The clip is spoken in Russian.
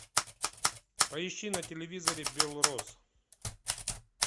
поищи на телевизоре белрос